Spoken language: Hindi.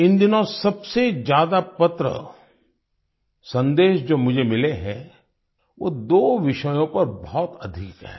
इन दिनों सबसे ज्यादा पत्र सन्देशजो मुझे मिले हैं वो दो विषयों पर बहुत अधिक है